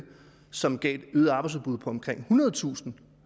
som gav et øget arbejdsudbud på omkring ethundredetusind